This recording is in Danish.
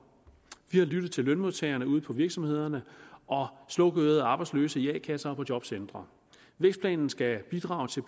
vi har lyttet til lønmodtagerne ude på virksomhederne og slukørede arbejdsløse i a kasser og på jobcentre vækstplanen skal bidrage til